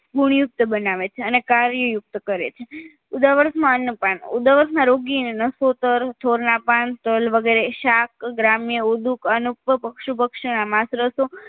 ગુણયુક્ત બનાવે છે અને કાર્યયુક્ત કરે છે ઉદાવરના અનુપાન ઉદાવરમાં રોગી અને નસોતર થોરના પાન તલ શાક ગ્રામ્ય ઉડુક પસુંપક્ષી ના માંસ